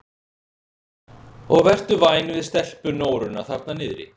Og vertu væn við stelpunóruna þarna niðri.